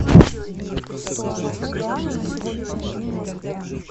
стоимость юаня на сегодняшний день в москве